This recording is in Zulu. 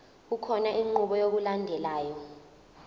kukhona inqubo yokulandelayo